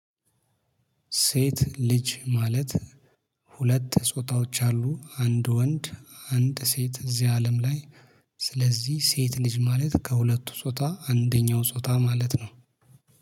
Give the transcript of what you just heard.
ሴት ልጅ ማለት ሁለት ጾታዎች አሉ። አንድ ወንድ: አንድ ሴት እዚህ አለም ላይ- ስለዚህ ሴት ልጅ ማለት ከሁለቱ ጾታ አንደኛው ጾታ ማለት ነው።